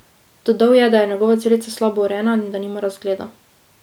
Dodal je, da je njegova celica slabo urejena in da nima razgleda.